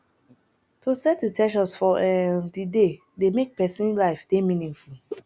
to set in ten tions for um di day dey make persin life de meaningful